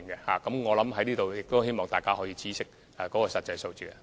所以，我希望大家可以知悉實際數字。